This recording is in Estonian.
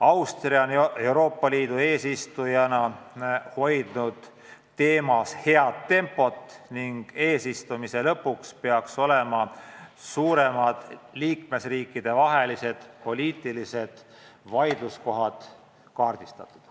Austria on Euroopa Liidu eesistujana teema arutamisel head tempot hoidnud ning eesistumise lõpuks peaks suuremad liikmesriikidevahelised poliitilised vaidluskohad olema kaardistatud.